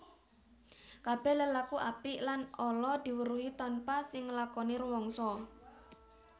Kabèh lelaku apik lan ala diweruhi tanpa sing nglakoni rumangsa